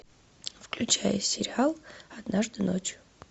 включай сериал однажды ночью